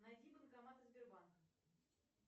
найди банкоматы сбербанка